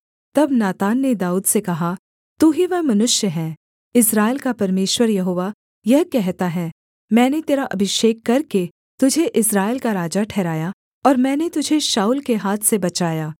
तब नातान ने दाऊद से कहा तू ही वह मनुष्य है इस्राएल का परमेश्वर यहोवा यह कहता है मैंने तेरा अभिषेक करके तुझे इस्राएल का राजा ठहराया और मैंने तुझे शाऊल के हाथ से बचाया